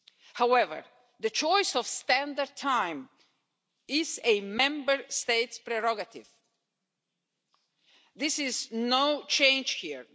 However, the choice of standard time is a Member State prerogative. There is no change here.